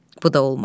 Bu da olmadı.